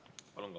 Palun!